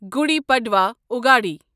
گُڈِ پڑوا یا اگاڑی